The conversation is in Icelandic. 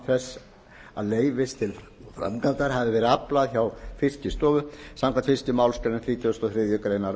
þess að leyfis til framkvæmdar hafi verið aflað hjá fiskistofu samkvæmt fyrstu málsgrein þrítugustu og þriðju grein